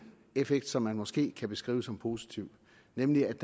effekt som man måske kan beskrive som positiv nemlig at